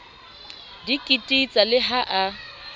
di kititsa le ha a